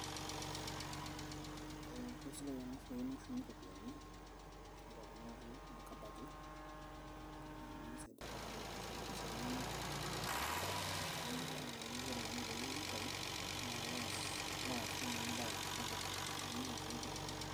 ee kesidai ena siai nashumi iropiyiani tiatua kuna kuti kabati amu kisaidia oltung'ani peeshum impisai enyenak tenkata naba enaa enayieu ore kenya peeyieu nitayu naa kitaas alo aasie naa embaye sapuk natumoki atareto ninye.